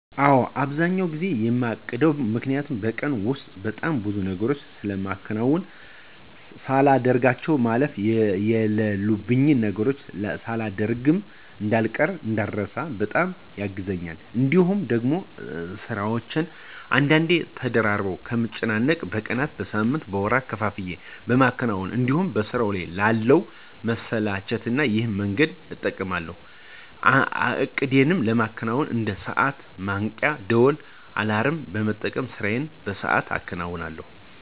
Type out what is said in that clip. አዎ። አብዛኛውን ጊዜ የማቅድበት ምክኒያቱ በቀን ውስጥ በጣም ብዙ ነገሮችን ስለማከናውን ሳላደርጋቸው ማለፍ የለሉብኝን ነገሮች ሳላደሮግ እዳልቀር ( እንዳረሳ) በጣም ያግዘኛል። እንዲሁም ደግሞ ስራዎቼን በአንዴ ተደራርበው ከምጨነቅ በቀናት፣ በሳምንት፣ በወራት ከፋፍዬ ለማከናወን እንዲሁም በስራው ላለ መሰላቸት ይሄን መንገድ እጠቀማለሁ። እቅዴን ለማከናወን እንደ ሰዓት እና ማንቂያ ደውል (አላርም) በመጠቀም ስራዬን በሰአቱ አከናውነለሁ።